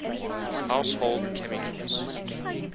household chemicals